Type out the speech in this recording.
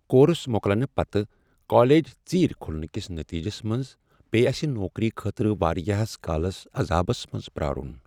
Course مۄکلنہ پتہ college ژیرۍ کھلنہٕ کس نتیجس منز پیٚیہ اسہ نوکری خٲطرٕ واریاہس کالس عذابس منز پیٛارن۔